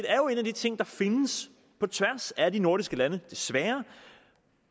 er jo en af de ting der findes på tværs af de nordiske lande desværre